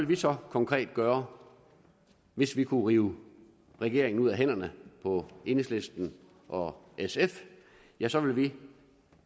vi så konkret gøre hvis vi kunne rive regeringen ud af hænderne på enhedslisten og sf ja så ville vi